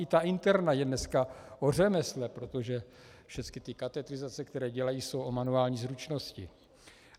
I ta interna je dneska o řemesle, protože všecky ty katetrizace, které dělají, jsou o manuální zručnosti.